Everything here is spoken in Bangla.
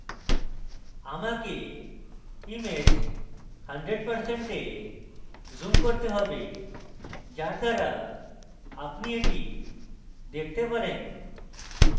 আমাকে image 100% zoom করতে হবে যার দ্বারা আপনি এটি দেখতে পারেন